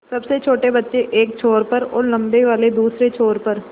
सबसे छोटे बच्चे एक छोर पर और लम्बे वाले दूसरे छोर पर